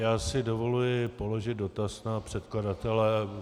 Já si dovoluji položit dotaz na předkladatele.